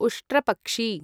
उष्ट्रपक्षी